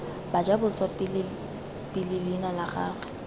bajaboswa pele leina la gagwe